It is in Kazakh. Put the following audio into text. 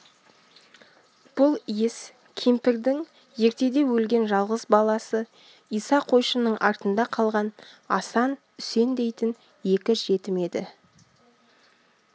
бұл иіс кемпірдің ертеде өлген жалғыз баласы иса қойшының артында қалған асан үсен дейтін екі жетім еді